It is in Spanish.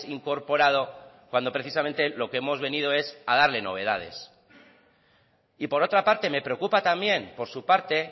incorporado cuando precisamente lo que hemos venido es a darle novedades y por otra parte me preocupa también por su parte